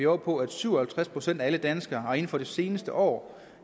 oppe på at syv og halvtreds procent af alle danskere inden for det seneste år